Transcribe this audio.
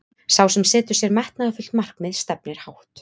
sá sem setur sér metnaðarfullt markmið stefnir hátt